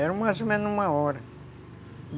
Era mais ou menos uma hora.